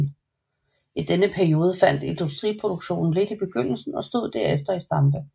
I denne periode faldt industriproduktionen lidt i begyndelsen og stod derefter i stampe